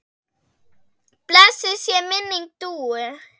Blessuð sé minning Dúu.